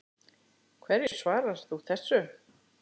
Hverju svarar þú þessu?